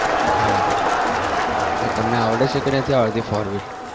બરાબર તમને આવડે છે કે નથી આવડતું four wheel